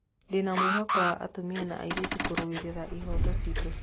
Ndĩna wĩtĩkio wa atumia na airĩtu kũrũirĩra ihooto citũ.